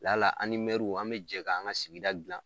Lala ani mɛruw an be jɛk'an ka sigida gilan